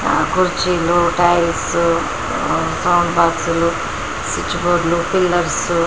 కుర్చీలు tiles sound బాక్స్లు switch బోర్డ్లు పిల్లర్స్-- .